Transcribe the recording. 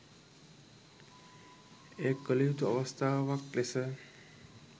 එය කළ යුතු අවස්ථාවක් ලෙස